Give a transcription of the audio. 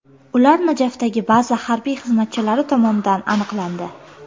Ular Najafdagi baza harbiy xizmatchilari tomonidan aniqlandi.